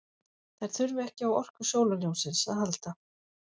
Þær þurfa ekki á orku sólarljóssins að halda.